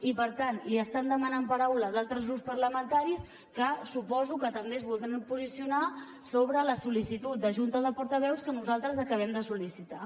i per tant li estan demanat paraula d’altres grups parlamentaris que suposo que també es voldran posicionar sobre la sol·licitud de junta de portaveus que nosaltres acabem de sol·licitar